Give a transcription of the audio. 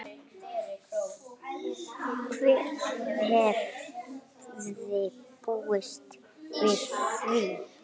Hver hefði búist við því?